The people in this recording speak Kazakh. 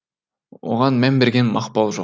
оған мән берген мақпал жоқ